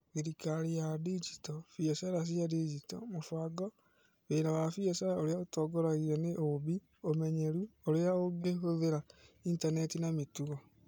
Thirikari ya Digito, biacara cia digitali, mũbango, Wĩra wa biacara ũrĩa ũtongoragio nĩ ũũmbi, Ũmenyeru Ũrĩa Ũngĩhũthĩra Intaneti na Mĩtugo